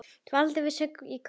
Dvaldi við söngnám í Köln.